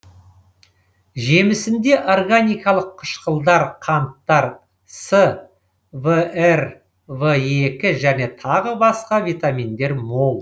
жемісінде органикалық қышқылдар қанттар с вр в екі және тағы басқа витаминдер мол